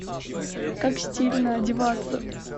как стильно одеваться